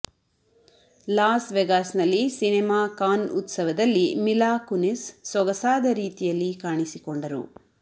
loss ವೇಗಾಸ್ನಲ್ಲಿ cinema Con ಉತ್ಸವದಲ್ಲಿ Mila Kunis ಸೊಗಸಾದ ರೀತಿಯಲ್ಲಿ ಕಾಣಿಸಿಕೊಂಡರು